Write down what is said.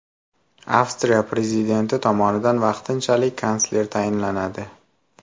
Avstriya prezidenti tomonidan vaqtinchalik kansler tayinlanadi.